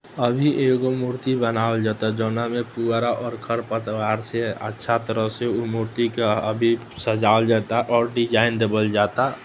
अभी एगो मूर्ति बनावल जाता जोवना में पुरा और खर-पतवार से अच्छा तरह से ऊ मूर्ति का अभी सजवल जाता और डिज़ाइन देवल जाता --